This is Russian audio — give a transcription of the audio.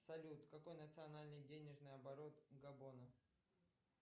салют какой национальный денежный оборот габона